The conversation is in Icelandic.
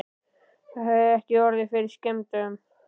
Það hefur ekki orðið fyrir skemmdum?